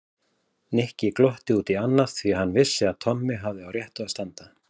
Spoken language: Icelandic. Nikki glotti út í annað því hann vissi að Tommi hafði á réttu að standa.